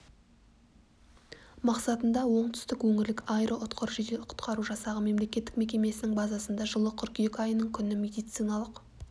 мақсатында оңтүстік өңірлік аэроұтқыр жедел құтқару жасағы мемлекеттік мекемесінің базасында жылы қыркүйек айының күні медициналық